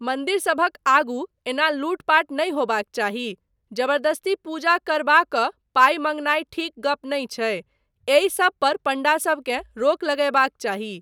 मन्दिरसभक आगू एना लूटपाट नहि होयबाक चाही, जबरदस्ती पूजा करबा कऽ पाइ माँगनाय ठीक गप नहि छै, एहिसब पर पंडासबकेँ रोक लगयबाक चाही।